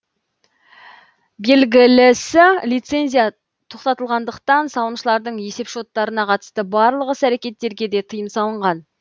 белгілісі лицензия тоқтатылғандықтан салымшылардың есеп шоттарына қатысты барлық іс әрекеттерге де тыйым салынған